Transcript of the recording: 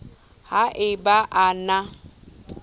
ha e ba a na